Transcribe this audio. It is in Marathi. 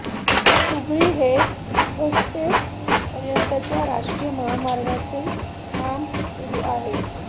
हुबळी ते होस्पेट पर्यंतच्या राष्ट्रीय महामार्गाचे काम सुरु आहे